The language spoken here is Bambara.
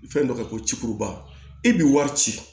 Fɛn dɔ kɛ ko ci e bi wari ci